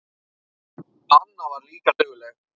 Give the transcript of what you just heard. Anna var líka dugleg.